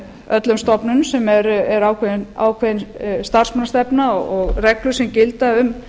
öllum stofnunum sem er ákveðin starfsmannastefna og reglur sem gilda um